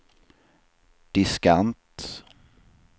diskant